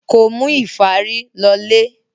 Kò mú ìfárí lọlé.